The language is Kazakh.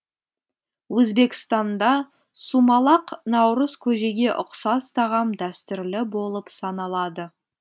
өзбекстанда сумалақ наурыз көжеге ұқсас тағам дәстүрлі болып саналады